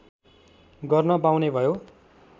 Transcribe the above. गर्न पाउने भयो